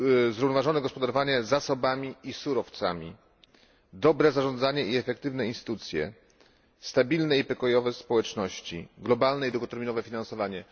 zrównoważone gospodarowanie zasobami i surowcami, dobre zarządzanie i efektywne instytucje, stabilne i pokojowe społeczności, globalne i długoterminowe finansowanie.